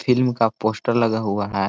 Film का poster लगा हुआ है।